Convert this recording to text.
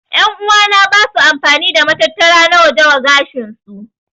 En'uwa na basu amfani da matattara na waje wa gashin su.